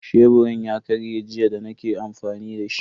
Sheburin ya karye jiya da nake amfani dashi.